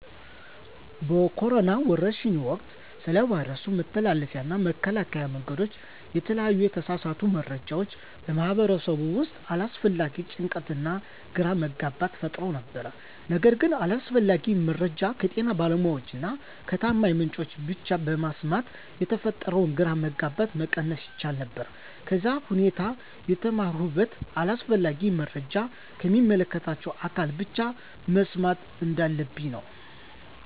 በኮሮና ወረርሽኝ ወቅት ስለ ቫይረሱ መተላለፊያ እና መከላከያ መንገዶች የተለያዩ የተሳሳቱ መረጃዎች በማህበረሰቡ ውስጥ አላስፈላጊ ጭንቀትና ግራ መጋባት ፈጥረው ነበር። ነገር ግን አስፈላጊውን መረጃ ከጤና ባለሙያዎች እና ከታማኝ ምንጮች ብቻ በመስማት የተፈጠረውን ግራ መጋባት መቀነስ ይቻል ነበር። ከዚህም ሁኔታ የተማርሁት አስፈላጊውን መረጃ ከሚመለከታቸው አካላት ብቻ መስማት እንዳለብኝ ነው።